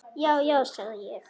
Já, já, sagði ég.